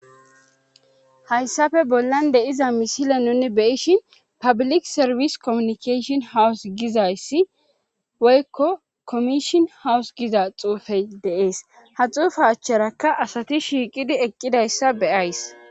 Hayssafe bollan deiza misile nuni beyishin pablik serfis kommunikashion hawus gizayssi woykko komishon hawus giza xuufey deees haxuufa achcharakka asati shiiqidi eqqidayssa beyays.